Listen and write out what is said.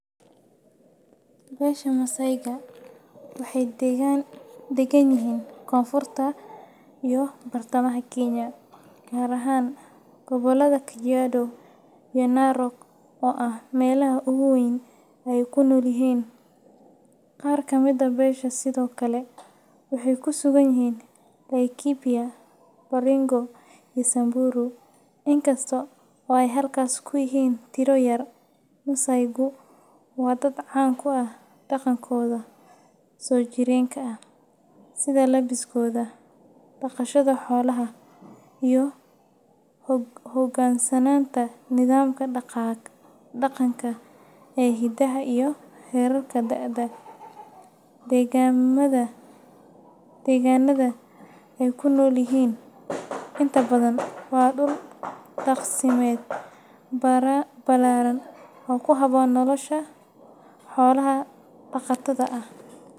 Beesha Masayga waxay deggan yihiin koonfurta iyo bartamaha Kenya, gaar ahaan gobollada Kajiado iyo Narok oo ah meelaha ugu weyn ee ay ku nool yihiin. Qaar ka mid ah beesha sidoo kale waxay ku sugan yihiin Laikipia, Baringo, iyo Samburu, inkasta oo ay halkaas ku yihiin tiro yar. Masaygu waa dad caan ku ah dhaqankooda soo jireenka ah, sida labbiskooda, dhaqashada xoolaha, iyo u hogaansanaanta nidaamka dhaqanka ee hidaha iyo heerarka da'da. Deegaannada ay ku noolyihiin inta badan waa dhul daaqsimeed ballaaran oo ku habboon noloshooda xoolo-dhaqatada ah.